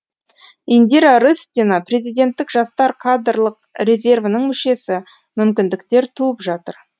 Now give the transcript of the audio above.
индира рыстина президенттік жастар кадрлық резервінің мүшесі мүмкіндіктер туып жатыр